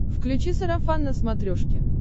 включи сарафан на смотрешке